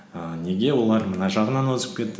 і неге олар мына жағынан озып кетті